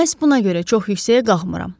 Məhz buna görə çox yüksəyə qalxmıram.